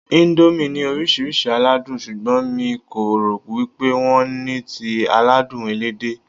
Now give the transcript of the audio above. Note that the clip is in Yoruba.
Íńdómì ní oríṣiríṣi aládùn, ṣùgbọ́n mi kò rò wípé wón ní ti aládùn Ẹlẹ́dẹ̀.